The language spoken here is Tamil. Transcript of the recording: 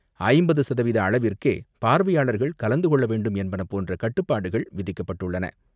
ஐம்பது சதவீத அளவிற்கே பார்வையாளர்கள் கலந்துகொள்ள வேண்டும் என்பன போன்ற கட்டுப்பாடுகள் விதிக்கப்பட்டுள்ளன.